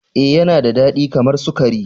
Ee, Yana da dadi kamar sukari.